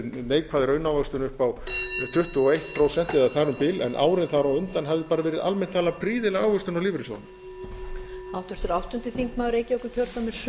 neikvæð raunávöxtun upp á tuttugu og eitt prósent eða þar um bil en árin þar á undan hafði bara verið almennt talað prýðileg ávöxtun á lífeyrissjóðunum